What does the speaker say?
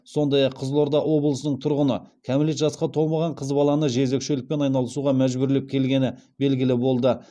сондай ақ қызылорда облысының тұрғыны кәмелет жасқа толмаған қыз баланы жезөкшелікпен айналысуға мәжбүрлеп келгені белгілі болды